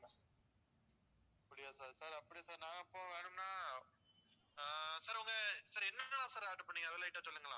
அப்படியா sir sir அப்படியா sir நான் இப்போ வேணும்னா ஆஹ் sir உங்க sir என்னென்னல்லாம் sir order பண்ணீங்க அதெல்லாம் என்கிட்ட சொல்லுங்களேன்.